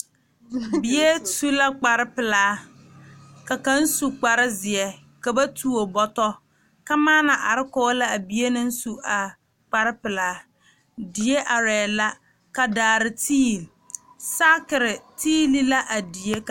Bie su la kparepelaa ka kaŋ su kparezeɛ ka ba tuo bɔtɔ kamaana are kɔge la a bie naŋ su a kparepelaa die arɛɛ la ka daare tiili saakire tiili la a die.